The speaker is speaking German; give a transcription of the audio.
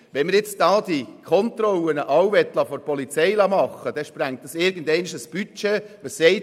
Wollte man all diese Kontrollen von der Polizei durchführen lassen, würde dies irgendwann das Budget sprengen.